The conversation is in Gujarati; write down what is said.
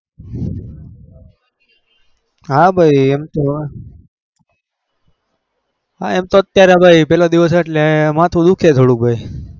હા ભાઈ એમ તો એમ તો અત્યારે માથું દુખે ભાઈ